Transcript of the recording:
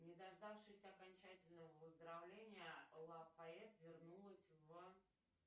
не дождавшись окончательного выздоровления лафает вернулась в